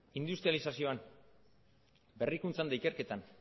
industralizazioan berrikuntzan eta ikerketan